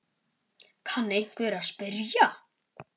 kann einhver að spyrja.